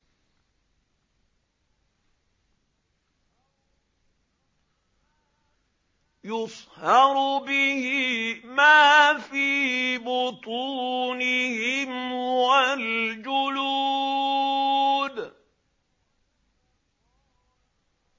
يُصْهَرُ بِهِ مَا فِي بُطُونِهِمْ وَالْجُلُودُ